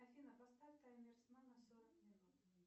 афина поставь таймер сна на сорок минут